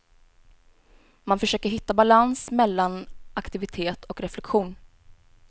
Man försöker hitta balans mellan aktivitet och reflektion.